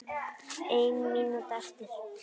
Ein mínúta eftir.